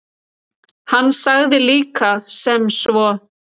Hann sagði líka sem svo: